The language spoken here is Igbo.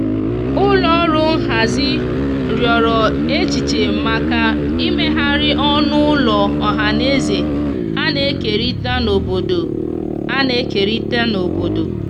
ụlọ ọrụ nhazi riọrọ echiche maka imeghari ọnụ ụlọ ohanaeze ana ekerita n'obodo ana ekerita n'obodo